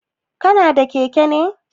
Kana da keke ne?